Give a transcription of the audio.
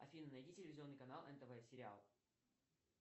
афина найди телевизионный канал нтв сериал